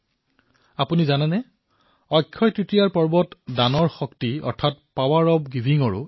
আপোনালোকে জানেনে অক্ষয় তৃতীয়াৰ এই পৰ্ব দানৰ শক্তি অৰ্থাৎ পাৱাৰ অব্ গিভিঙৰো এক পৰ্ব